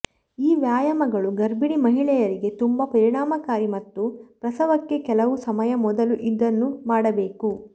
ಈ ವ್ಯಾಯಾಮಗಳು ಗರ್ಭಿಣಿ ಮಹಿಳೆಯರಿಗೆ ತುಂಬಾ ಪರಿಣಾಮಕಾರಿ ಮತ್ತು ಪ್ರಸವಕ್ಕೆ ಕೆಲವು ಸಮಯ ಮೊದಲು ಇದನ್ನು ಮಾಡಬೇಕು